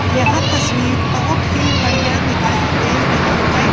यह तस्वीर बहुत ही बढ़िया दिखाई दे रही है।